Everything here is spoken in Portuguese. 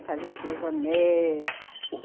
E fazer o cloisonné.